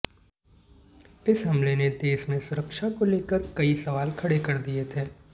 इस हमले ने देश में सुरक्षा को लेकर कई सवाल खड़े कर दिए थे